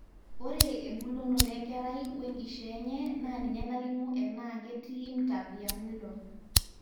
ore embulunoto enkerai wenkishaa enye naa ninye nalimu enaa ketii mtapiamlo